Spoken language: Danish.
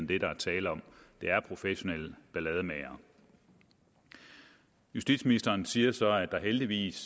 det der er tale om det er professionelle ballademagere justitsministeren siger så at der heldigvis